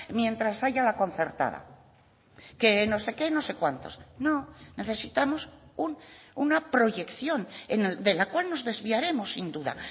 mientras haya la concertada que no sé qué no sé cuántos no necesitamos una proyección de la cual nos desviaremos sin duda